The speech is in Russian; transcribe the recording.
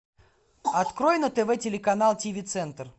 открой на тв телеканал тв центр